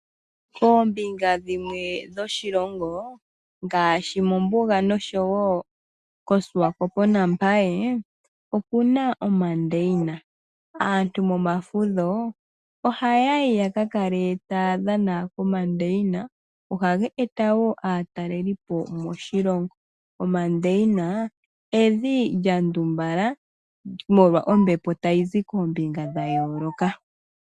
Koombinga dhimwe dhoshilongo ngaashi mombuga nosho wo kOswakopo naMbaye oku na omandeyina. Aantu momafudho ohaya yi ya ka kale taya dhana komandeyina. Ohaga eta wo aatalelipo moshilongo. Omandeyina evi lya ndumbala molwa ombepo tayi zi koombinga dha yooloka.